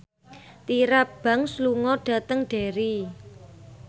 Tyra Banks lunga dhateng Derry